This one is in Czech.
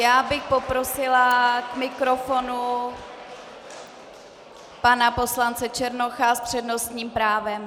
Já bych poprosila k mikrofonu pana poslance Černocha s přednostním právem.